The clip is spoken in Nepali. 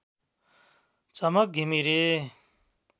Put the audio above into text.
झमक घिमिरे